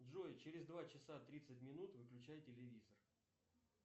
джой через два часа тридцать минут выключай телевизор